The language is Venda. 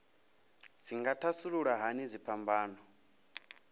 dzi nga thasulula hani dziphambano